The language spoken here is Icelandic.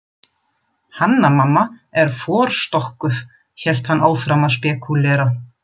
Hanna- Mamma er forstokkuð, hélt hann áfram að spekúlera.